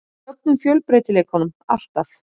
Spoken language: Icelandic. Fögnum fjölbreytileikanum alltaf.